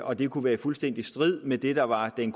og det kunne være fuldstændig i strid med det der var den